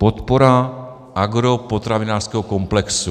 Podpora agropotravinářského komplexu.